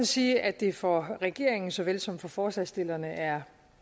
sige at det for regeringen såvel som for forslagsstillerne er